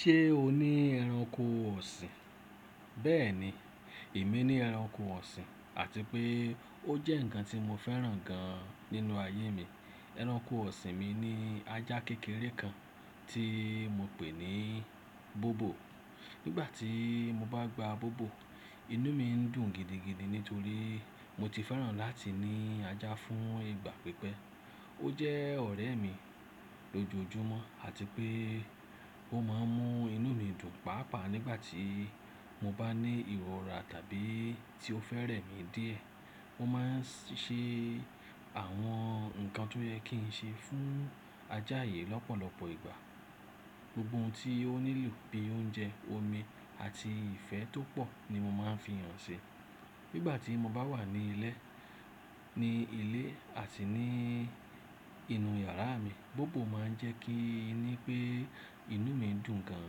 Ṣé o ní ẹranko ọ̀sìn? Bẹ́ẹ̀ni, èmi ní ẹranko ọ̀sìn àti pé ó jẹ́ ǹkan tí mo fẹ́ràn gan nínú ayé mi. Ẹranko ọ̀sìn mi ní ajá kékeré kan tí mo pè ní Bobo. Nígbà tí mo bá gba Bobo, inú mi ń dùn gidigidi nítorí mo ti fẹ́ràn láti ní ajá fún ìgbà pípẹ́. Ó jẹ́ ọ̀rẹ́ mi lójoojúmọ́ àti pé ó máa ń mú inú mi dùn pàápàá nígbà tí mo bá ní ìrọra tàbí tí ó fẹ́ rẹ̀ mí díẹ̀. Ó máa ń ṣe àwọn nǹkan tó yẹ kí n ṣe fún ajá yìí lọ́pọ̀lọpọ̀ ìgbà. Gbogbo ohun tí ó nílò bíi oúnjẹ, omi àti ìfẹ́ tó pọ̀ ni mo máa ń fi hàn ṣi. Nígbà tí mo bá wà ní ilé, ní ilé àti ní inú yàrá mi, Bobo máa ń jẹ́ kí i ní pé inú mi dùn gan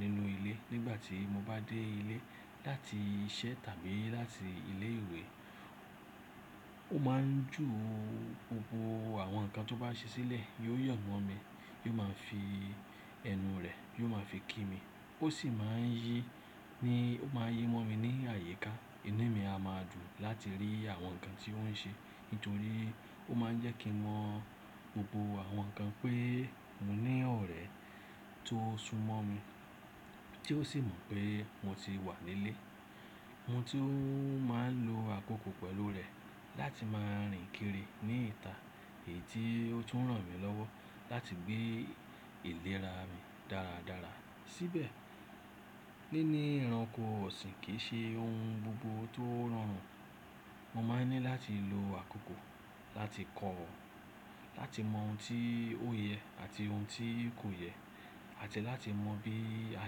nínú ilé. Nígbà tí mo bá dé ilé láti iṣẹ́ tàbí láti ilé ìwé, ó máa ń jù gbogbo àwọn nǹkan tó bá ṣe sílẹ̀, yóò yò mọ́ mi, yóò máa fi ẹnu rẹ̀, yóò máa fi kí mi. Ó sì máa ń yí, ní ó máa yí mọ́ mi ní àyíká. Inú mi a máa dùn láti rí àwọn nǹkan tí ó ń ṣe nítorí ó máa ń jẹ́ kí mọ́ gbogbo àwọn nǹkan pé mo ní ọ̀rẹ́ tó súnmọ́ mi tí ó sì mọ̀ pé mo ti wà nílé. Mo tún máa ń lo àkókò pẹ̀lú rẹ̀ láti máa rìn kiri ní ìta èyí tí ó tún ràn mí lọ́wọ́ láti gbé ìlera mi dáradára síbẹ̀. Níní ẹranko ọ̀sìn kì í ṣe ohun gbogbo tó rọrùn. Mo máa ń ní láti lo àkókò láti kọ́ ọ̀, láti mọ ohun tí ó yẹ àti ohun tí kò yẹ àti láti mọ bí a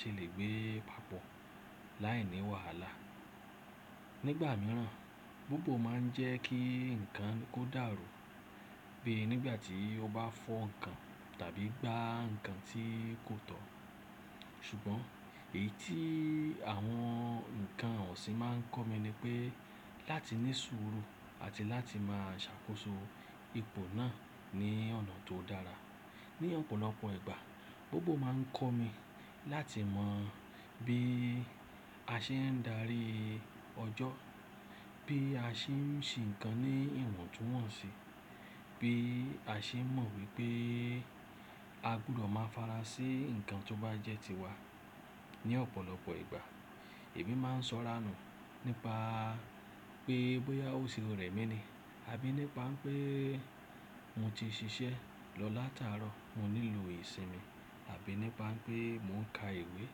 ṣe lè gbé e papọ̀ láìní wàhálà. Nígbà mìíràn, Bobo máa ń jẹ́ kí nǹkan kó dàrú bíi nígbà tí ó bá fọ́ nǹkan tàbí gbá nǹkan tí kò tọ̀. Ṣùgbọ́n èyí tí àwọn nǹkan ọ̀sìn máa ń kọ́ mi ni pé láti ní sùúrù àti láti máa ṣàkóso ipò náà ní ọ̀nà tó dára. Ní ọ̀pọ̀lọpọ̀ ìgbà Bobo máa ń kọ́ mi láti mọ bí a ṣe ń darí ọjọ́, bí a ṣe ń ṣe nǹkan ní ìwọ̀ntúnwọ̀nsì, bí a ṣe mọ̀ wípé a gbúdọ̀ máa farasi nǹkan tó bá jẹ́ tiwa. Ní ọ̀pọ̀lọpọ̀ ìgbà èmi máa ń sọ̀rànù nípa pé bóyá ò ṣèré mi ni àbí nípa pé mo ti ṣiṣẹ́ lọ látàárọ̀, mo nílò ìsinmi àbí nípa pé mò ń ka ìwé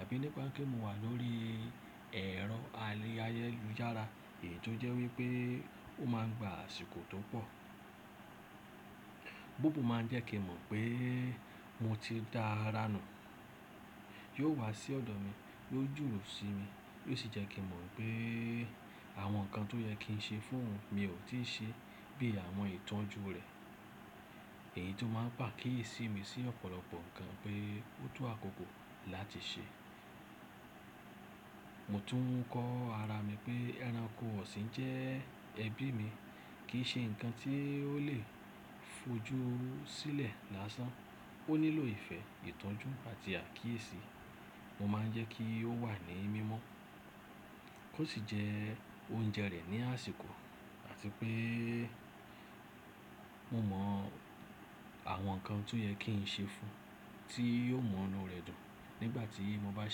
àbí nípa pé mò wà lórí ẹ̀rọ ayélujára èyí tó jẹ́ wípé ó máa ń gba àsìkò tó pọ̀. Bobo máa ń jẹ́ kí mọ̀ pé mo ti dáa ránù. Yóò wá sí ọ̀dọ̀ mi, yóò jùrù sí mi, yóò sì jẹ́ kí mọ̀ pé àwọn nǹkan tó yẹ kí n ṣe fún òun mi ò tíì ṣe bí i àwọn ìtọ́jú rẹ̀ èyí tó máa ń pàkíyèsí mi sí ọ̀pọ̀lọpọ̀ nǹkan pé ó tó àkókò láti ṣe. Mo tún kó ara mi pé ẹranko ọ̀sìn jẹ́ ẹbí mi, kì í ṣe nǹkan tí ó lè fojú sílẹ̀ lásán. Ó nílò ìfẹ́, ìtọ́jú àti àkíyèsí. Mo máa ń jẹ́ kí ó wà ní mímọ́ kó sì jẹ oúnjẹ rẹ̀ ní àsìkò àti pé mo mọ àwọn nǹkan tó yẹ kí n ṣe fún un tí yóò mú ọinú rẹ̀ dùn. Nígbà tí mo bá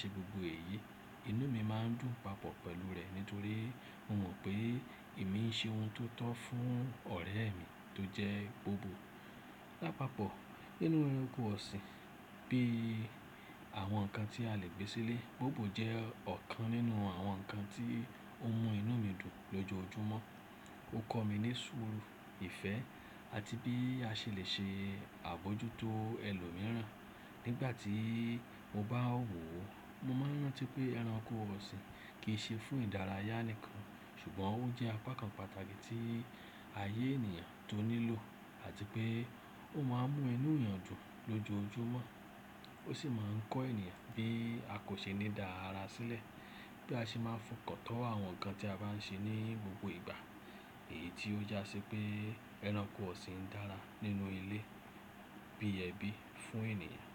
ṣe gbogbo èyí, inú mi máa ń dùn papọ̀ pẹ̀lú rẹ̀ nítorí mo mọ̀ pé èmi ṣe ohun tó tọ́ fún ọ̀rẹ́ mi tó jẹ́ Bobo. Lápapọ̀ nínú ẹranko ọ̀sìn bí i àwọn nǹkan tí a lè gbé sílé, Bobo jẹ́ ọ̀kan nínú àwọn nǹkan tí ó ń mú inú mi dùn lójoojúmọ́. Ó kọ́ mi ní sùúrù, ìfẹ́ àti bí a ṣe lè ṣe àbójútó ẹlòmíràn. Nígbà tí mo bá wò ó, mo máa ń rántí pé ẹranko ọ̀sìn kì í ṣe fún ìdárayá nìkan, ṣùgbọ́n ó jẹ́ apá kan pàtàkì tí ayé ènìyàn tó nílò àti pé ó máa ń mú inú èèyàn dùn lójoojúmọ́. Ó sì máa ń kọ́ ènìyàn bí a kò ṣe ní dá ara sílẹ̀ bí a ṣe máa fi okàn to àwọn nǹkan tí a bá ń ṣe ní gbogbo ìgbà èyí tí ó yà sí pé ẹranko ọ̀sìn dára nínú ilé bí ẹbí fún ènìyàn.